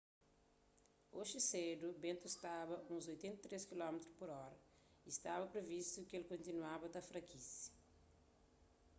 oji sedu bentu staba uns 83 km/h y stba privistu ki el kontinuaba ta frakise